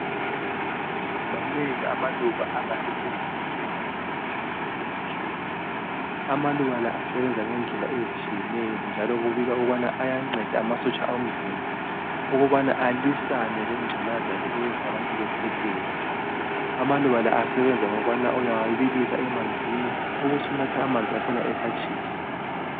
Manengi amaluba angasetshenziswa ukwelapha umkhuhlane wokukhwehlela. Amaluba la asebenza ngendlela ezitshiyeneyo njalo kubikwa ukubana ayanceda amasotsha omzimba ukubana alwisane lengculaza le eyenza abantu bekhwehlele. Amaluba la asebenza ngokubana uyawabilisa emanzini ubusunatha amanzi akhona esatshisa.